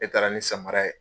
Ne taara ni samara ye.